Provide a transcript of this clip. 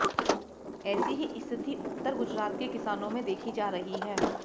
ऐसी ही स्थिति उत्तर गुजरात के किसानों में देखी जा रही है